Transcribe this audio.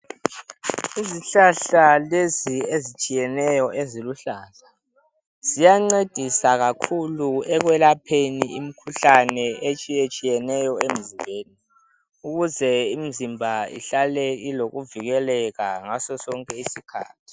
Izihlahla lezi ezitshiyeneyo eziluhlaza. Ziyancedisa kakhulu ekwelapheni imikhuhlane etshiyetshiyeneyo emzimbeni ukuze imizimba ihlale ilokuvikeleka ngaso sonke isikhathi.